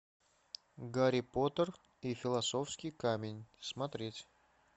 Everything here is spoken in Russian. гарри поттер и философский камень смотреть